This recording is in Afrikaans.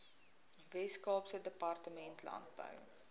weskaapse departement landbou